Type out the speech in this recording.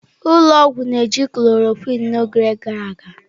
Ụlọ ọgwụ na-eji chlọrọquin n'oge gara aga.